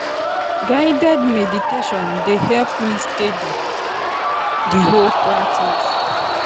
guided meditation dey help me steady the whole practice.